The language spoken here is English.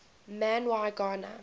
man y gana